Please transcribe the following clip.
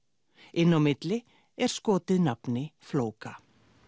inn á milli er skotið nafni flóka